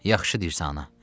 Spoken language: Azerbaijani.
Yaxşı deyirsən, ana.